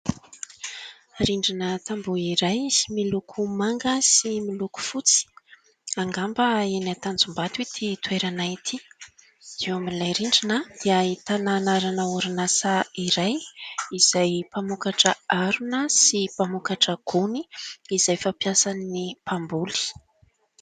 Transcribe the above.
Rindrina tamboho iray, miloko manga sy miloko fotsy. Angamba eny Tanjombato ity toerana ity. Eo amin'ilay rindrina dia ahitana anarana orinasa iray izay mpamokatra arina sy mpamokatra gony izay fampiasan'ny mpamboly.